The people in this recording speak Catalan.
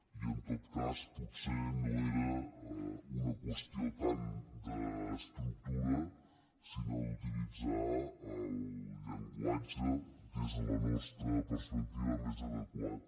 i en tot cas potser no era una qüestió tant d’estructura sinó d’utilitzar el llenguatge des de la nostra perspectiva més adequat